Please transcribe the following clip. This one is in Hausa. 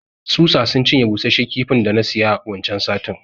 Tsutsa sun cinye bushashiyar kifin da na siya waccan satin.